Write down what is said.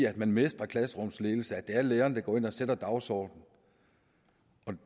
at man mestrer klasserumsledelse og at læreren sætter dagsordenen